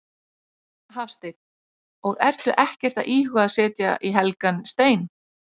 Hafsteinn: Og ertu ekkert að íhuga að setja í helgan stein?